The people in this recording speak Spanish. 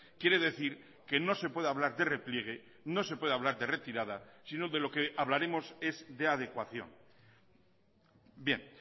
quiere decir que no se puede hablar de repliegue no se puede hablar de retirada sino de lo que hablaremos es de adecuación bien